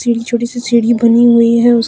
एक छोटी सी सीढ़ी बनी हुई है उस--